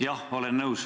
Jah, olen nõus.